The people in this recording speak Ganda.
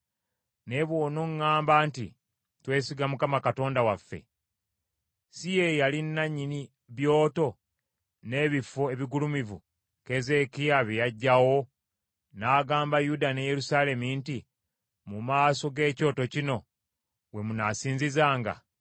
Naye bw’onoŋŋamba nti, ‘Twesiga Mukama Katonda waffe,’ si ye yali nannyini byoto n’ebifo ebigulumivu Keezeekiya bye yaggyawo n’agamba Yuda ne Yerusaalemi nti, ‘Mu maaso g’ekyoto kino we munaasinzizanga’?